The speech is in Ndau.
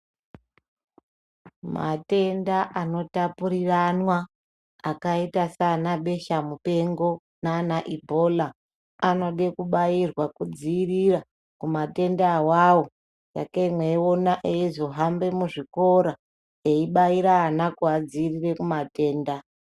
Matenda anotapuriranwa akaita sanaBeshamupengo nanaIbhola anode kubairwa kudziirira kumatenda awayo. Sakei meiona eizohambe muzvikora eibaire vana kuvadzivirire kumatenda.